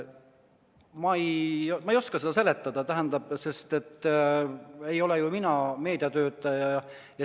Ma ei oska seda seletada, sest mina ei ole ju meediatöötaja.